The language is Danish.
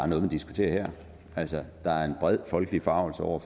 noget man diskuterer herinde altså der er en bred folkelig forargelse over